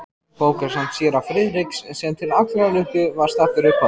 Bókasafn séra Friðriks, sem til allrar lukku var staddur uppá